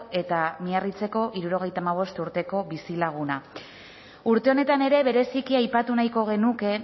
eta miarritzeko hirurogeita hamabost urteko bizilaguna urte honetan ere bereziki aipatu nahiko genuke